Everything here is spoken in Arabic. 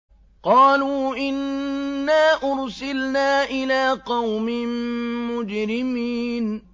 قَالُوا إِنَّا أُرْسِلْنَا إِلَىٰ قَوْمٍ مُّجْرِمِينَ